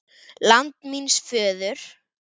LAND MÍNS FÖÐUR